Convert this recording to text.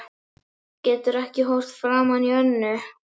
Getur ekki horft framan í Önnu